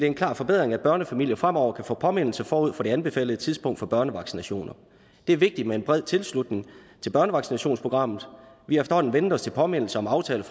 en klar forbedring at børnefamilier fremover kan få en påmindelse forud for det anbefalede tidspunkt for børnevaccinationer det er vigtigt med en bred tilslutning til børnevaccinationsprogrammet vi har efterhånden vænnet os til påmindelser om aftaler